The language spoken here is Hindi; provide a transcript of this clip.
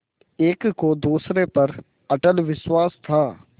एक को दूसरे पर अटल विश्वास था